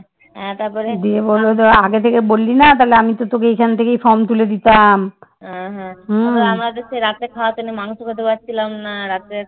রাতে খাওয়াতে এনে সে মাংস খেতে পারছিলাম না রাতে